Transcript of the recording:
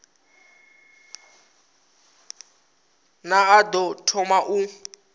ne a ḓo thoma u